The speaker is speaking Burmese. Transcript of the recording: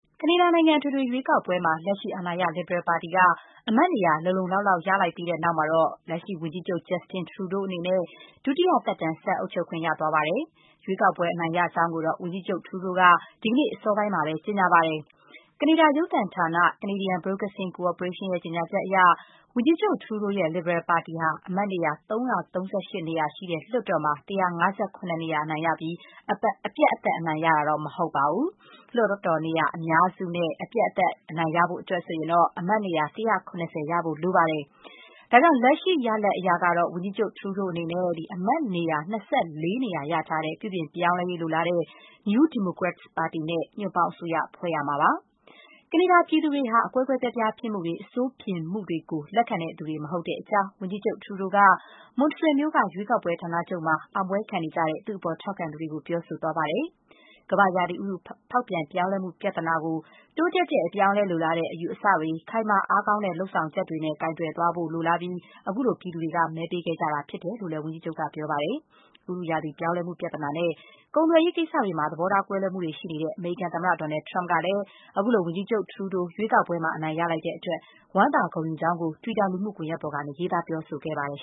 ကနေဒါနိုင်ငံ အထွေထွေရွေးကောက်ပွဲမှာ လက်ရှိအာဏာရ လစ်ဘရယ်ပါတီက အမတ်နေရာ လုံလုံလောက်လောက် ရလိုက်ပြီးနောက်မှာတော့ လက်ရှိ ဝန်ကြီးချုပ် Justin Trudeau အနေနဲ့ ဒုတိယသက်တမ်း ဆက်အုပ်ချုပ်ခွင့် ရသွားပါတယ်။ ရွေးကောက်ပွဲ အနိုင်ရကြောင်းကိုတော့ ဝန်ကြီးချုပ် Trudeau က ဒီကနေ့အစောပိုင်းမှာ ကြေညာပါတယ်။ ကနေဒါ ရုပ်သံဌာန Canadian Broadcasting Corporation ရဲ့ ကြေညာချက်အရ ဝန်ကြီးချုပ် Trudeau ရဲ့ လစ်ဘရယ်ပါတီက အမတ်နေရာ ၃၃၈ နေရာရှိတဲ့ လွှတ်တော်မှာ ၁၅၇ နေရာ အနိုင်ရပြီး အပြတ်အသတ် အနိုင်ရတာတော့ မဟုတ်ပါဘူး။ လွှတ်တော်နေရာအများစုနဲ့ အပြတ်အသတ် အနိုင်ရဖို့အတွက်ဆိုရင်တော့ အမတ်နေရာ ၁၇၀ ရဖို့လိုပါတယ်။ ဒါကြောင့် လက်ရှိရလဒ်အရ ဝန်ကြီးချုပ် Trudeau အနေနဲ့ အမတ်နေရာ ၂၄ နေရာ ရထားတဲ့ ပြုပြင်ပြောင်းလဲရေး လိုလားတဲ့ New Democrats ပါတီနဲ့ ညွှန့်ပေါင်းအစိုးရ ဖွဲ့ရမှာ ဖြစ်ပါတယ်။ ကနေဒါပြည်သူတွေဟာ အကွဲကွဲအပြားပြား ဖြစ်မှုတွေ၊ အဆိုးမြင်မှုတွေကို လက်ခံသူတွေ မဟုတ်တဲ့အကြောင်း ဝန်ကြီးချုပ် Trudeau က Montreal မြို့က ရွေးကောက်ပွဲဌာနချုပ်မှာ အောင်ပွဲခံနေကြတဲ့ သူ့အပေါ် ထောက်ခံသူတွေကို ပြောဆိုသွားပါတယ်။ ကမ္ဘာ့ရာသီဥတု ဖောက်ပြန် ပြောင်းလဲမှု ပြဿနာကို တိုးတက်တဲ့ အပြောင်းအလဲ လိုလားတဲ့ အယူအဆတွေ၊ ခိုင်မာအားကောင်းတဲ့ လုပ်ဆောင်ချက်တွေ ကိုင်တွယ်သွားဖို့ လိုလားပြီး ခုလို ပြည်သူတွေ မဲပေးခဲ့တာဖြစ်ကြောင်းလည်း ဝန်ကြီးချုပ်က ပြောပါတယ်။ ဥတုရာသီပြောင်းလဲမှု ပြဿနာနဲ့ ကုန်သွယ်ရေးကိစ္စတွေမှာ သဘောထား ကွဲလွဲမှုတွေရှိနေတဲ့ အမေရိကန်သမ္မတ Donald Trump ကလည်း အခုလို ဝန်ကြီးချုပ် Trudeau ရွေးကောက်ပွဲမှာ အနိုင်ရတဲ့အတွက် ဝမ်းသာ ဂုဏ်ယူကြောင်း တွီတာလူမှု ကွန်ရက်ပေါ်ကနေ ရေးသား ပြောဆိုခဲ့ပါတယ်